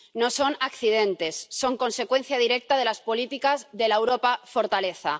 No son accidentes son consecuencia directa de las políticas de la Europa fortaleza.